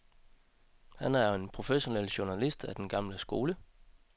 Han er en professionel journalist af den gamle skole.